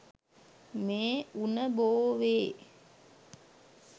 මේ උණ බෝවේ.